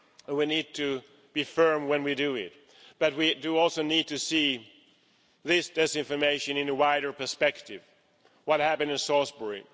We need to be firm when we do it, but we also need to see this disinformation in a wider perspective what happened in Salisbury